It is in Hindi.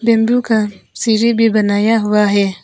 बेम्बु का सीरी भी बनाया हुआ है।